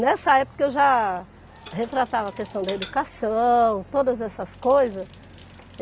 Nessa época, eu já retratava a questão da educação, todas essas coisas.